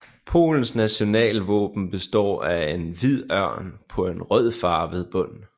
Polens nationalvåben består af en hvid ørn på en rødfarvet bund